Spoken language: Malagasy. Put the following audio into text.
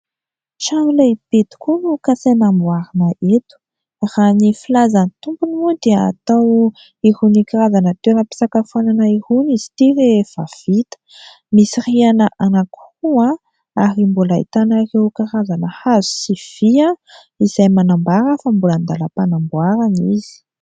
Trano lehibe tokoa no kasaina amboarina eto. Raha ny filazan'ny tompony moa dia atao an'irony karazana toerampiasakafoanana irony izy ity rehefa vita. Misy rihana anankiroa ary mbola ahitana an'ireo karazana hazo sy vy izay manambara fa mbola andalampanamboarana izy.